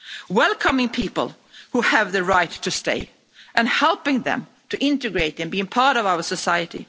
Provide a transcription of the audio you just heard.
Welcoming people who have the right to stay, and helping them to integrate and be a part of our society.